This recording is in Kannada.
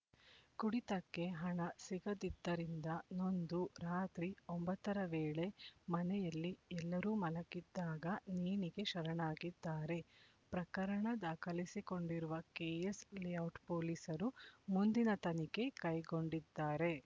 ಕುಡಿತಕ್ಕೆ ಹಣ ಸಿಗದಿದ್ದರಿಂದ ನೊಂದು ರಾತ್ರಿ ಒಂಬತ್ತ ರ ವೇಳೆ ಮನೆಯಲ್ಲಿ ಎಲ್ಲರೂ ಮಲಗಿದ್ದಾಗ ನೇಣಿಗೆ ಶರಣಾಗಿದ್ದಾರೆ ಪ್ರಕರಣ ದಾಖಲಿಸಿಕೊಂಡಿರುವ ಕೆಎಸ್ ಲೇಔಟ್ ಪೊಲೀಸರು ಮುಂದಿನ ತನಿಖೆ ಕೈಗೊಂಡಿದ್ದಾರೆ